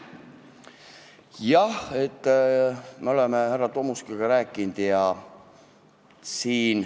Jah, me oleme härra Tomuskiga sellest rääkinud.